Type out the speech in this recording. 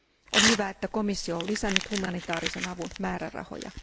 On hyvä, että komissio on lisännyt humanitaarisen avun määrärahoja.